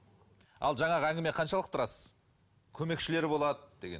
ал жаңағы әңгіме қаншалықты рас көмекшілері болады деген